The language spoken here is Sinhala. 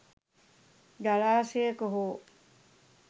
ජලාශයක හෝ